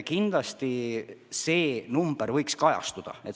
Kindlasti võiks ülevaates kajastuda ka see number.